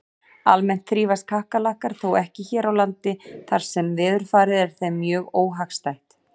Almennt þrífast kakkalakkar þó ekki hér á landi þar sem veðurfarið er þeim mjög óhagstætt.